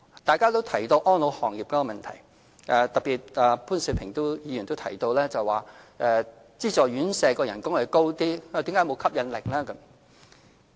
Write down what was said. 大家也提到安老行業的問題，特別是潘兆平議員，他提到資助院舍員工的薪酬較高，但為何仍沒有吸引力。